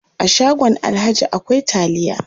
A shagon alhaji akwai taliya.